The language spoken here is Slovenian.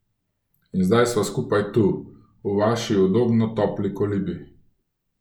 In zdaj sva skupaj tu, v vaši udobno topli kolibi.